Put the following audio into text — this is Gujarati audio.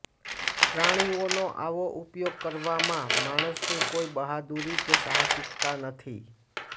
પ્રાણીઓનો આવો ઉપયોગ કરવામાં માણસની કોઈ બહાદુરી કે સાહસિકતા નથી